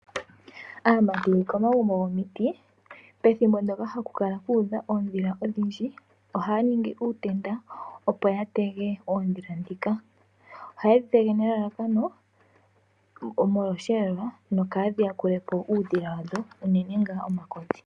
Aamati komagumbo gomiti pethimbo ndoka haku kala kuudha oondila odhindji ohaya ningi uutenda opo ya tege oondhila ndhika. Ohayedhi tege nelalakano molwa oshiyelelwa nokadhi yakulepo uudhila wadho unene ngaa omakodhi.